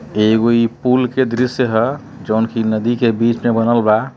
एगो ई पुल का दृश्य है जोन की नदी के बीच में बनल बा।